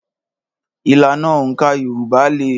Ìlànà òǹkà Yorùbá le.